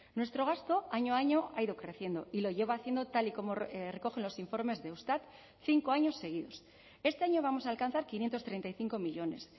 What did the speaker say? nuestro gasto año a año ha ido creciendo y lo lleva haciendo tal y como recogen los informes de eustat cinco años seguidos este año vamos a alcanzar quinientos treinta y cinco millónes